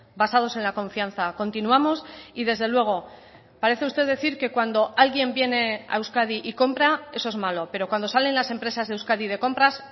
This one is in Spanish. basados en la confianza continuamos y desde luego parece usted decir que cuando alguien viene a euskadi y compra eso es malo pero cuando salen las empresas de euskadi de compras